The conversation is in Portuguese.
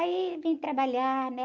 Aí, vim trabalhar, né?